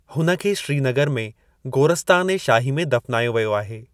हुन खे श्रीनगर में गोरस्तान ए शाही में दफ़नायो वियो आहे।